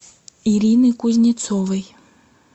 ирины кузнецовой